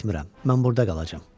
Getmirəm, mən burda qalacam.